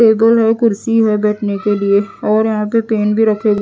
table और कुर्सी है बैठने के लिए और यहां पर पेन भी रखें--